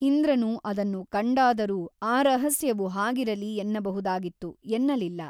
ಇಂದ್ರನು ಅದನ್ನು ಕಂಡಾದರೂ ಆ ರಹಸ್ಯವು ಹಾಗಿರಲಿ ಎನ್ನಬಹುದಾಗಿತ್ತು ಎನ್ನಲಿಲ್ಲ.